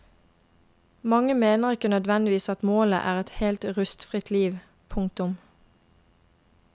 Mange mener ikke nødvendigvis at målet er et helt rusfritt liv. punktum